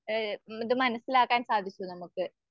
ഏഹ് ഇത് മനസ്സിലാക്കാൻ സാധിക്കും നമുക്ക്.